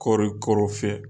Kɔri kɔrɔ fiyɛ.